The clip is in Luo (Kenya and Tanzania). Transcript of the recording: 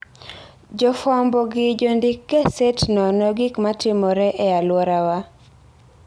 Jofwambo gi jondik gaset nono gik matimore e alworawa.